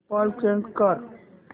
default change कर